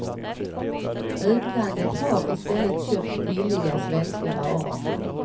Utlandet har i stället köpt billiga svenska varor.